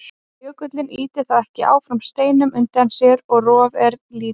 Jökullinn ýtir þá ekki áfram steinum undir sér og rof er lítið.